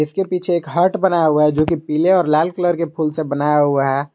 इसके पीछे हार्ट बनाया हुआ है जो कि पीले और लाल कलर के फूल से बनाया हुआ है।